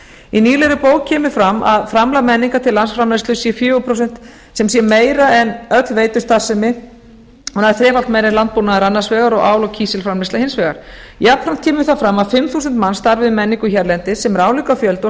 í nýlegri bók kemur fram að framlag menningar til landsframleiðslu sé fjögur prósent sem sé meira en öll veitustarfsemi og nær þrefalt meira en landbúnaður annars vegar og ál og kísilframleiðsla hins vegar jafnframt kemur þar fram að fimm þúsund manns starfi við menningu hérlendis sem er álíka fjöldi og